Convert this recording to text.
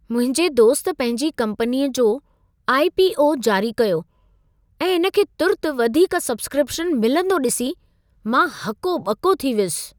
मुंहिंजे दोस्त पंहिंजी कम्पनीअ जो आई.पी.ओ. जारी कयो ऐं इन खे तुर्त वधीक सब्स्क्रिप्शन मिलंदो ॾिसी, मां हको ॿको थी वियुसि।